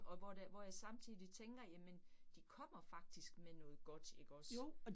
Og hvor det hvor jeg samtidig tænker jamen, de kommer faktisk med noget godt ikke også